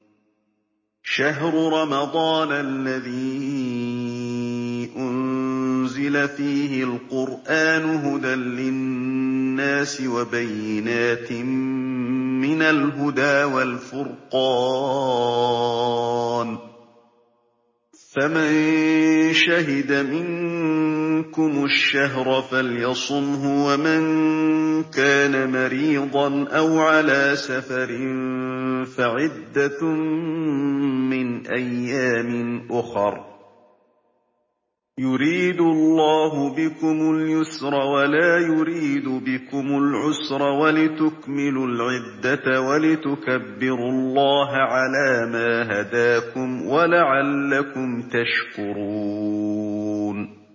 شَهْرُ رَمَضَانَ الَّذِي أُنزِلَ فِيهِ الْقُرْآنُ هُدًى لِّلنَّاسِ وَبَيِّنَاتٍ مِّنَ الْهُدَىٰ وَالْفُرْقَانِ ۚ فَمَن شَهِدَ مِنكُمُ الشَّهْرَ فَلْيَصُمْهُ ۖ وَمَن كَانَ مَرِيضًا أَوْ عَلَىٰ سَفَرٍ فَعِدَّةٌ مِّنْ أَيَّامٍ أُخَرَ ۗ يُرِيدُ اللَّهُ بِكُمُ الْيُسْرَ وَلَا يُرِيدُ بِكُمُ الْعُسْرَ وَلِتُكْمِلُوا الْعِدَّةَ وَلِتُكَبِّرُوا اللَّهَ عَلَىٰ مَا هَدَاكُمْ وَلَعَلَّكُمْ تَشْكُرُونَ